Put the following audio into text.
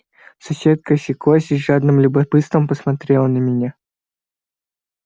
соседка осеклась и с жадным любопытством посмотрела на меня